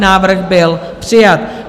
Návrh byl přijat.